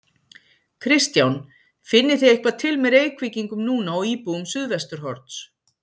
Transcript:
Kristján: Finnið þið eitthvað til með Reykvíkingum núna og íbúum Suðvesturhorns?